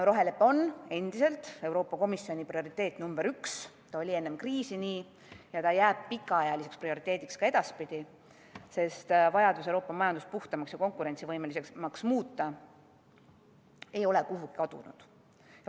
Rohelepe on endiselt Euroopa Komisjoni prioriteet, see oli enne kriisi nii ja jääb pikaajaliseks prioriteediks ka edaspidi, sest vajadus Euroopa majandus puhtamaks ja konkurentsivõimelisemaks muuta ei ole kuhugi kadunud.